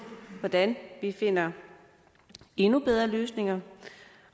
hvordan vi finder endnu bedre løsninger